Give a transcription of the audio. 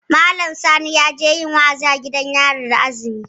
Malam Sani yaje yin wa'azi a gidan yari da azumi